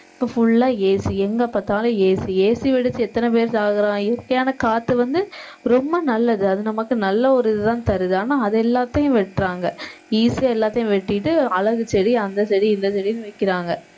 இப்ப full ஆ AC எங்க பார்த்தாலும் ACAC வெடிச்சு எத்தன பேர் சாகுறான் இயற்கையான காத்து வந்து ரொம்ப நல்லது அது நமக்கு நல்ல ஒரு இதுதான் தருது ஆனா அது எல்லாத்தையும் வெட்டுறாங்க easy ஆ எல்லாத்தையும் வெட்டிட்டு அழகு செடி அந்த செடி இந்த செடின்னு வைக்கிறாங்க